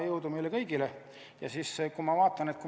Jõudu meile kõigile!